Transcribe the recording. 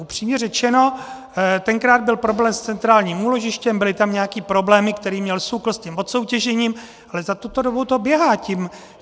Upřímně řečeno, tenkrát byl problém s centrálním úložištěm, byly tam nějaké problémy, které měl SÚKL s tím odsoutěžením, ale za tuto dobu to běhá.